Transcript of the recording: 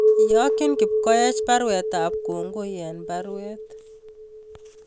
Iyokyin kipkoech baruet ab kongoi en baruet